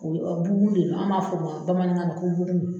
bugun de do an b'a fɔ o ma bamanankan na ko bugun.